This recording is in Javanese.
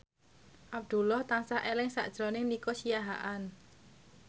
Abdullah tansah eling sakjroning Nico Siahaan